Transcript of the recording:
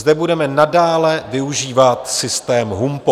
Zde budeme nadále využívat systém HUMPO.